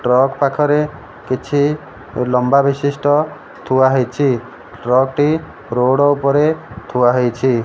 Truck ପାଖରେ କିଛି ଲମ୍ବା ବିଶିଷ୍ଟ ଥୁଆ ହେଇଛି ଟ୍ରକ୍ ଟି ରୋଡ଼ ଉପରେ ଥୁଆ ହେଇଛି।